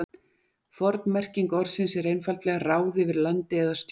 forn merking orðsins er einfaldlega ráð yfir landi eða stjórn